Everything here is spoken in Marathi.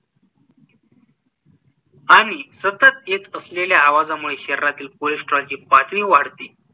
आणि सतत येत असलेल्‍या आवाजामुळे शरीरातील कोलेस्‍ट्रॉलची पातळी वाढते